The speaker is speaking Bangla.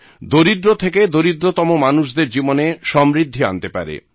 দরিদ্র থেকে দরিদ্রতম মানুষদের জীবনে সমৃদ্ধি আনতে পারে